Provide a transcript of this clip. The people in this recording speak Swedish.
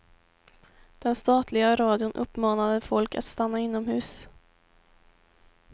Den statliga radion uppmanade folk att stanna inomhus.